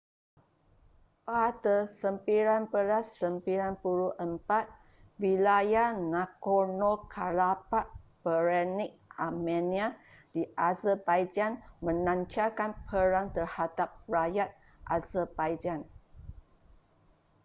pada 1994 wilayah nagorno-karabakh beretnik armenia di azerbaijan melancarkan perang terhadap rakyat azerbaijan